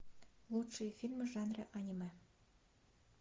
лучшие фильмы в жанре аниме